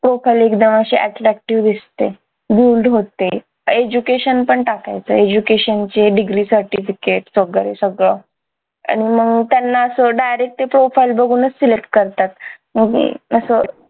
profile एकदम अशी attractive दिसते होते education पण टाकायचं education चे degree certificate वगैरे सगळं आणि मग त्यांना असं direct ते फक्त profile बघूनच select करतात मग मी असं